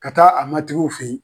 Ka taa a matigiw fe ye.